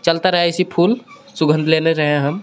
चलता रहे ऐसी फूल सुगंध लेने रहे हैं हम.